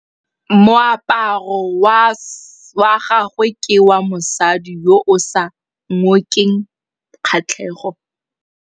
Moaparô wa gagwe ke wa mosadi yo o sa ngôkeng kgatlhegô.